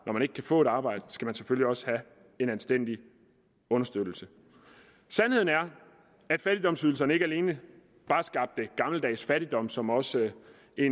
når man ikke kan få et arbejde skal man selvfølgelig også have en anstændig understøttelse sandheden er at fattigdomsydelserne ikke alene bare skabte gammeldags fattigdom som også